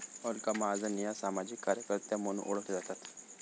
अलका महाजन या सामाजिक कार्यकर्त्या म्हणून ओळखल्या जातात